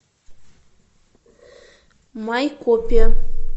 майкопе